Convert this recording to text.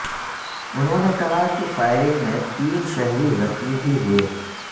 انہوں نے کہا کہ فائرنگ میں تین شہری زخمی بھی ہوئے